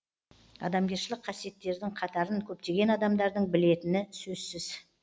адамгершілік қасиеттердің қатарын көптеген адамдардың білетіні сөзсіз